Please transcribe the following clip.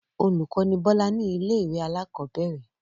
Olùkọ́ ni Bọ́lá ní ilé-ìwé alákọ̀ọ́bẹ̀rẹ̀.